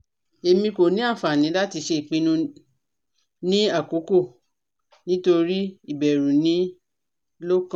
Emi ko ni anfani lati ṣe ipinnu ni akoko nitori ibẹru ni lọkan